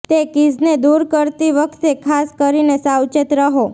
તે કીઝને દૂર કરતી વખતે ખાસ કરીને સાવચેત રહો